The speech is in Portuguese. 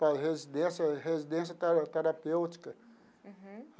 para a residência residência tera terapêutica. Uhum.